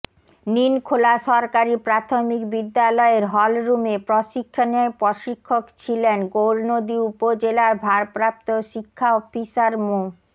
নিলখোলা সরকারি প্রাথমিক বিদ্যালয়ের হলরুমে প্রশিক্ষণে প্রশিক্ষক ছিলেন গৌরনদী উপজেলার ভারপ্রাপ্ত শিক্ষা অফিসার মো